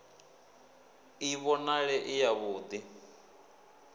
i vhonale i yavhud i